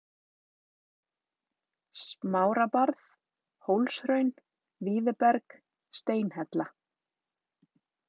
Smárabarð, Hólshraun, Víðiberg, Steinhella